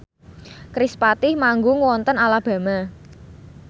kerispatih manggung wonten Alabama